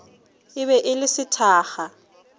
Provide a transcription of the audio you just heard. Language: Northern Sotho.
e be e le sethakga